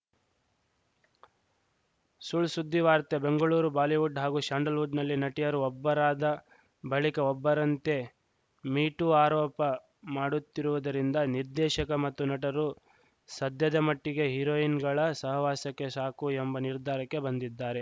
ಸುಳ್‌ ಸುದ್ದಿವಾರ್ತೆ ಬೆಂಗಳೂರು ಬಾಲಿವುಡ್‌ ಹಾಗೂ ಶ್ಯಾನ್ಡ್ ಲ್‌ವುಡ್‌ನಲ್ಲಿ ನಟಿಯರು ಒಬ್ಬರಾದ ಬಳಿಕ ಒಬ್ಬರಂತೆ ಮೀ ಟೂ ಆರೋಪ ಮಾಡುತ್ತಿರುವುದರಿಂದ ನಿರ್ದೇಶಕ ಮತ್ತು ನಟರು ಸದ್ಯದ ಮಟ್ಟಿಗೆ ಹೀರೋಯಿನ್‌ಗಳ ಸಹವಾಸಕ್ಕೇ ಸಾಕು ಎಂಬ ನಿರ್ಧಾರಕ್ಕೆ ಬಂದಿದ್ದಾರೆ